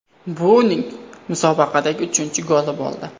Bu uning musobaqadagi uchinchi goli bo‘ldi.